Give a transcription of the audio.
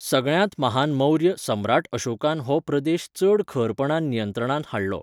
सगळ्यांत महान मौर्य सम्राट अशोकान हो प्रदेश चड खरपणान नियंत्रणांत हाडलो.